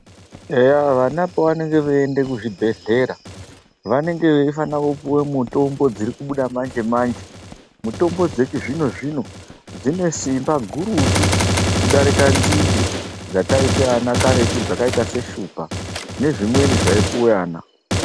Eya vana pavanoenda kuzvibhedhlera vanenge veifana kupuwa mitombo dziri kubuda manje-manje mitombo dzechizvino-zvino dzine Simba gurutu kudarika nzinde dzakaita ana karetu zvakaita ana Shupa ndozvimweni zvaipuwa ana.